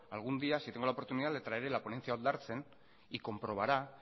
algún día si tengo la oportunidad le traeré la ponencia oldartzen y comprobará